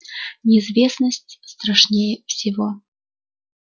неизвестность страшнее всего